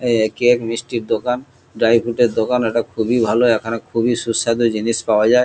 Cake মিষ্টির দোকান dry food এর দোকান এটা খুবই ভালো এখানে খুবই সুস্বাদু জিনিস পাওয়া যায়।